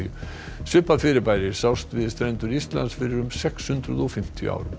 svipað fyrirbæri sást við strendur Íslands fyrir um sex hundruð og fimmtíu árum